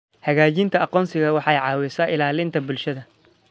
Xaqiijinta aqoonsiga waxay caawisaa ilaalinta bulshada.